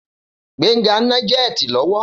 Gbénga ń ná jẹ́ẹ̀tì lọ́wọ́.